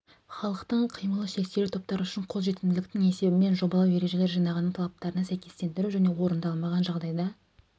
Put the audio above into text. халықтың қимылы шектеулі топтары үшін қолжетімділіктің есебімен жобалау ережелер жинағының талаптарына сәйкестендіру және орындалмаған жағдайда